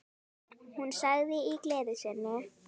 Hún sagði í gleði sinni: